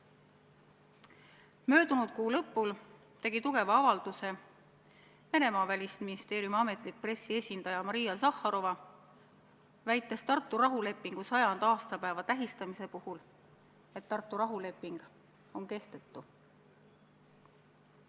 Möödunud kuu lõpul tegi tugeva avalduse Venemaa välisministeeriumi pressiesindaja Maria Zahharova, väites Tartu rahulepingu 100. aastapäeva tähistamise puhul, et Tartu rahuleping on kehtetu.